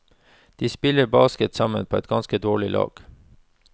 De spiller basket sammen på et ganske dårlig lag.